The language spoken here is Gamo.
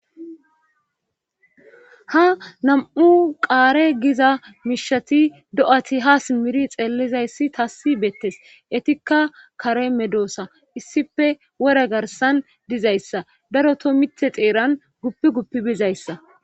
Ha nam7u qaare giza miishati do7ati ha simmiri xeellizayssi taassi beettes etikka kare medoosa issipe wore garsan dizayssa daro to mite xeeran guppi guppi bizayssa.